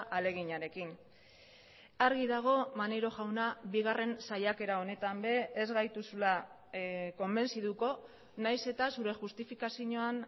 ahaleginarekin argi dago maneiro jauna bigarren saiakera honetan ere ez gaituzula konbentzituko nahiz eta zure justifikazioan